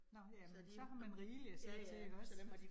Nåh, jamen så har man rigeligt at se til ikke også